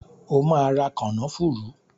O ma ra “kànnáfùrù".!